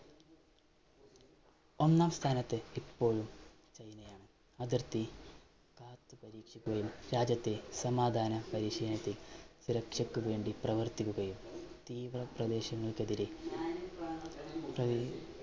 ഒന്നാം സ്ഥാനത്ത് ഇപ്പോഴും ചൈനയാണ് അതിർത്തി കാത്തു പരീക്ഷിക്കുകയും രാജ്യത്തെ സമാധാന പരീക്ഷയ്ക്ക് സുരക്ഷയ്ക്ക് വേണ്ടി പ്രവർത്തിക്കുകയും തീവ്ര പ്രദേശങ്ങൾക്കെതിരെ